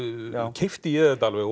keypti ég þetta alveg